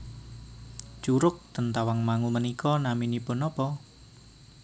Curug ten Tawangmangu menika naminipun nopo